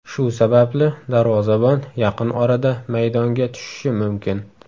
Shu sababli darvozabon yaqin orada maydonga tushishi mumkin.